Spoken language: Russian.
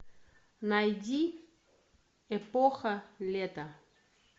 найди эпоха лета